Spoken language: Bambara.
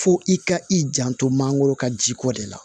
Fo i ka i janto mangoro ka jiko de la